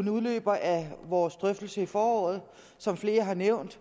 en udløber af vores drøftelse i foråret som flere har nævnt